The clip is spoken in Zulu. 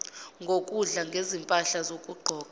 ngokudla ngezimpahla zokugqoka